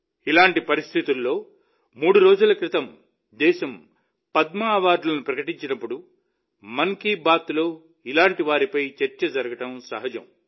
ఇలాంటి పరిస్థితుల్లో మూడు రోజుల క్రితం దేశం పద్మ అవార్డులను ప్రకటించినప్పుడు మన్ కీ బాత్లో ఇలాంటి వారిపై చర్చ జరగడం సహజం